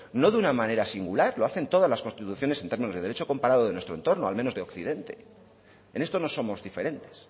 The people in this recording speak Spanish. no de una manera singular lo hacen todas las constituciones en términos de derecho comparado de nuestro entorno al menos de occidente en esto no somos diferentes